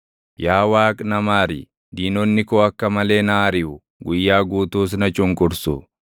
Yaa Waaqi na maari; diinonni koo akka malee na ariʼu; guyyaa guutuus na cunqursu.